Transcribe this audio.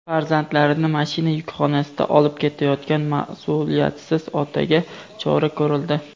Farzandlarini mashina yukxonasida olib ketayotgan mas’uliyatsiz otaga chora ko‘rildi.